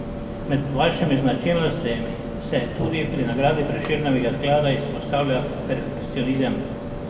Med vašimi značilnostmi se, tudi pri nagradi Prešernovega sklada, izpostavlja perfekcionizem.